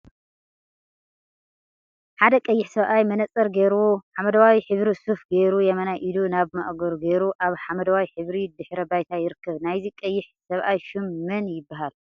ሓደ ቀይሕ ሰብአይ መነፀር ገይሩ ሓመደዋይ ሕብሪ ሱፍ ገይሩ የማናይ ኢዱ ናብ ማእገሩ ገይሩ አብ ሓመደዋይ ሕብሪ ድሕረ ባይታ ይርከብ፡፡ ናይዚ ቀይሕ ሰብአይ ሹም መን ይበሃል?